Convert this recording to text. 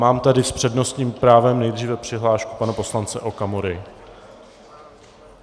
Mám tady s přednostním právem nejdříve přihlášku pana poslance Okamury.